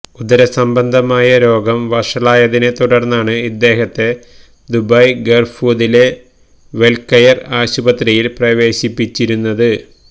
ഉദര സംബന്ധമായ രോഗം വഷളായതിനെ തുടര്ന്നാണ് ഇദ്ദേഹത്തെ ദുബായ് ഗര്ഹൂദിലെ വെല്കെയര് ആശുപത്രിയില് പ്രവേശിപ്പിച്ചിരുന്നത്